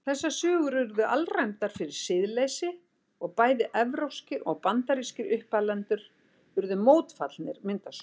Þessar sögur urðu alræmdar fyrir siðleysi og bæði evrópskir og bandarískir uppalendur urðu mótfallnir myndasögum.